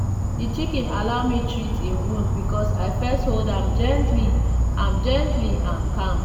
the chicken allow me treat e wound because i first hold am gently am gently and calm.